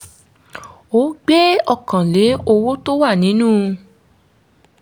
ó gbé ọkàn lẹ́ owó tó wà nínú